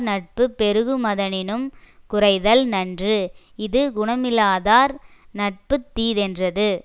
நட்பு பெருகுமதனினும் குறைதல் நன்று இது குணமில்லாதார் நட்பு தீதென்றது